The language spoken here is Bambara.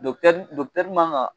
man ka